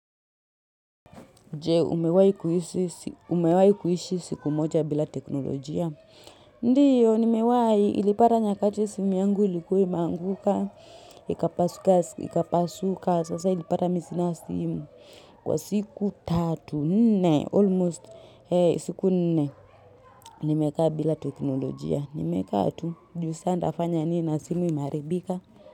Jee, umewahi kuishi siku moja bila teknolojia. Ndiyo, nimewahi ilipata nyakati simu yangu ilikuwa imeanguka, ikapasuka, sasa ilipata mimi sina simu. Kwa siku tatu, nne, almost siku nne, nimekaa bila teknolojia. Nimekaa tu, ju sasa nitafanya nini na simu imeharibika.